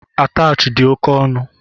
Atachị di oke ọnụ